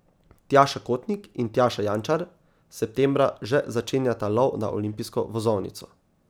Tjaša Kotnik in Tjaša Jančar septembra že začenjata lov na olimpijsko vozovnico.